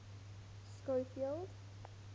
schofield